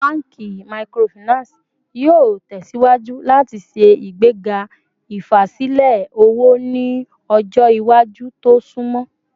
Awọn banki Microfinance yoo tẹsiwaju lati ṣe igbega ifasilẹ owo ni ọjọ iwaju to sunmọ